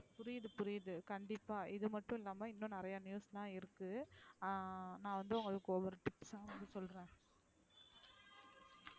புரியுது புரியுது கண்டிப்பா இது மட்டும் இல்லாம இன்னும் நிறைய news லாம் இருக்கு அ நா வந்து உங்களுக்கு ஒவ்வொன,